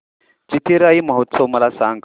चिथिराई महोत्सव मला सांग